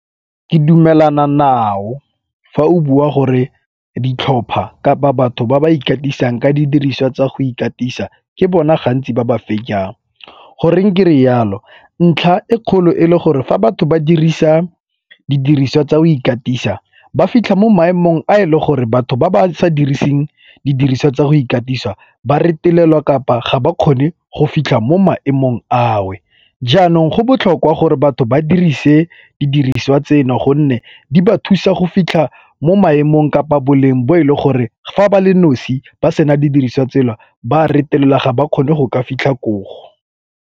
Ke dumelana nao fa o bua gore ditlhopha ka ba batho ba ba ikatisang ka didiriswa tsa go ikatisa ke bona gantsi ba ba . Goreng kere yalo, ntlha e kgolo e le gore fa batho ba dirisa didiriswa tsa go ikatisa ba fitlha mo maemong a e leng gore batho ba ba sa diriseng didiriswa tsa go ikatisa ba retelelwa kapa ga ba kgone go fitlha mo maemong ao. Jaanong go botlhokwa go gore batho ba dirise didiriswa tseno gonne di ba thusa go fitlha mo maemong kapa boleng bo e le gore fa ba le nosi ba sena didiriswa tsela ba a retelelwa ga ba kgone go ka fitlha koo.